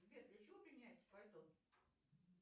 сбер для чего применяется пальто